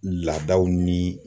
Laadaw ni